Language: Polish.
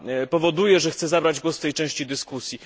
powoduje, że chcę zabrać głos w tej części dyskusji.